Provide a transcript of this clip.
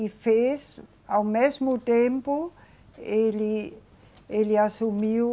E fez, ao mesmo tempo, ele, ele assumiu